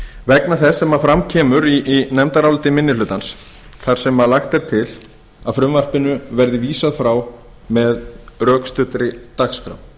vegna þess sem fram kemur í nefndaráliti minni hlutans þar sem lagt er til að frumvarpinu verði vísað frá með rökstuddri dagskrá